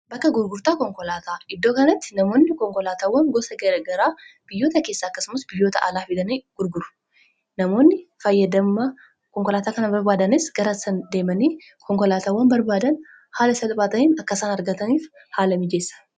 Bakka gurgurtaa konkolaataa iddoo kanatti namoonni konkolaataawwan gosa gara garaa biyyoota keessaa akkasumas biyyoota alaa fidanii gurguru. Namoonni fayyadama konkolaataa kana barbaadanis gara sana deemanii konkolaataawwan barbaadan haala salphaa ta'een akka isaan argataniif haala mijeessa.